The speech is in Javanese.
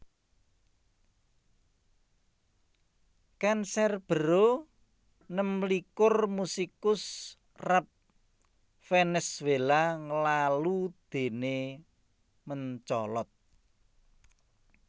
Canserbero nemlikur musikus rap Vènèzuéla nglalu déné mencolot